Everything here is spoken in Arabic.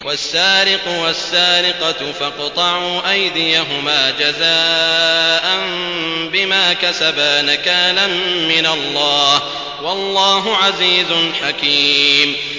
وَالسَّارِقُ وَالسَّارِقَةُ فَاقْطَعُوا أَيْدِيَهُمَا جَزَاءً بِمَا كَسَبَا نَكَالًا مِّنَ اللَّهِ ۗ وَاللَّهُ عَزِيزٌ حَكِيمٌ